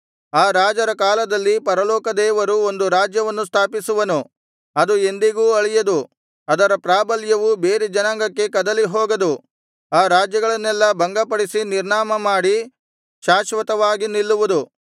ಆ ರಾಜರ ಕಾಲದಲ್ಲಿ ಪರಲೋಕದೇವರು ಒಂದು ರಾಜ್ಯವನ್ನು ಸ್ಥಾಪಿಸುವನು ಅದು ಎಂದಿಗೂ ಅಳಿಯದು ಅದರ ಪ್ರಾಬಲ್ಯವು ಬೇರೆ ಜನಾಂಗಕ್ಕೆ ಕದಲಿಹೋಗದು ಆ ರಾಜ್ಯಗಳನ್ನೆಲ್ಲಾ ಭಂಗಪಡಿಸಿ ನಿರ್ನಾಮಮಾಡಿ ಶಾಶ್ವತವಾಗಿ ನಿಲ್ಲುವುದು